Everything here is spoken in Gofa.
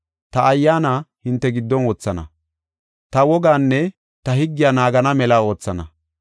Ta Ayyaana hinte giddon wothana; ta wogaanne ta higgiya naagana mela oothana.